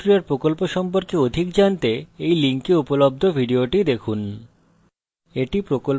spoken tutorial প্রকল্প সম্পর্কে অধিক জানতে এই link উপলব্ধ video দেখুন